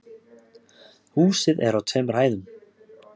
Húsið er á tveimur hæðum